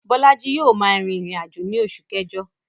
Bólájí yio ma rìn ìrìnàjò ni osù kẹ́jo